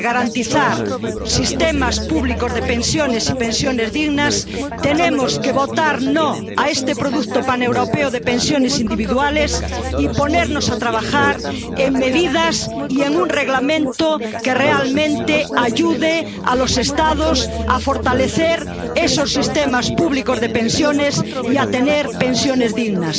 realmente sistemas públicos de pensiones y pensiones dignas tenemos que votar no a este producto paneuropeo de pensiones individuales y ponernos a trabajar en medidas y en un Reglamento que realmente ayude a los Estados a fortalecer esos sistemas públicos de pensiones y a tener pensiones dignas.